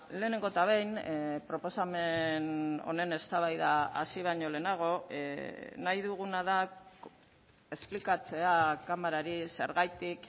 lehenengo eta behin proposamen honen eztabaida hasi baino lehenago nahi duguna da esplikatzea kamarari zergatik